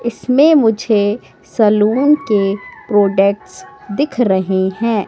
इसमें मुझे सलून के प्रोडक्ट्स दिख रहें हैं।